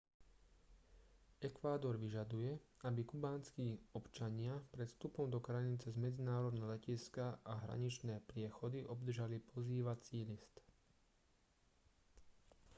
ekvádor vyžaduje aby kubánski občania pred vstupom do krajiny cez medzinárodné letiská a hraničné priechody obdržali pozývací list